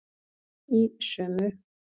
Í sömu